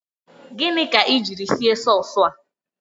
Gịnị ka ị jiri sie sasua a?